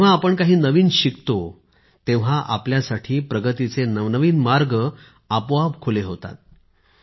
जेव्हा आपण काही नवीन शिकतो तेव्हा आपल्यासाठी प्रगतीचे नवनवीन मार्ग आपोआप खुले होतात